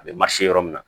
A bɛ ma se yɔrɔ min na